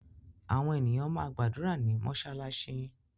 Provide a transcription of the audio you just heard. Àwọn ènìyàn má gbàdúrà ní mosalasi